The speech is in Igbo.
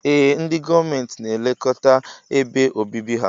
Ee ndi gọọmenti na elekọta ebe obibi ha.